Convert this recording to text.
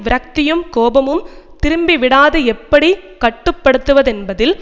விரக்தியும் கோபமும் திரும்பிவிடாது எப்படி கட்டு படுத்துவது என்பதில்